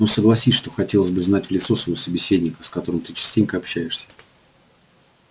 но согласись что хотелось бы знать в лицо своего собеседника с которым ты частенько общаешься